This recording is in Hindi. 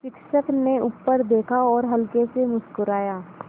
शिक्षक ने ऊपर देखा और हल्के से मुस्कराये